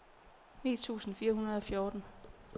ni tusind fire hundrede og fjorten